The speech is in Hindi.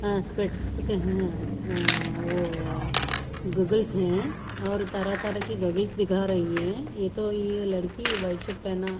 हाँ स्पेक्ट्स है अहह ओ गॉगल्स है और तरहा तरहा की गॉगल्स दिखा रही है ये तो ये लड़की व्हाईट शर्ट पहना --